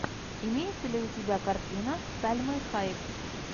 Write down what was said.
имеется ли у тебя картина с сальмой хайек